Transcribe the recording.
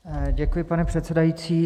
Děkuji, pane předsedající.